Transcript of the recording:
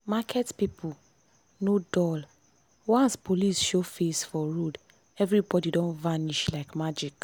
market people no dull once police show face for road everybody don vanish like magic.